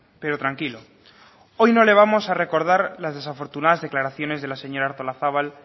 pero tranquilo hoy no le vamos a recordar las desafortunadas declaraciones de la señora artolazabal